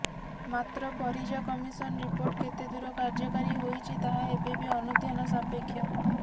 ମାତ୍ର Parija commission report କେତେଦୂର କାର୍ଯ୍ୟକାରୀ ହୋଇଛି ତାହା ଏବେ ବି ଅନୁଧ୍ୟାନ ସାପେକ୍ଷ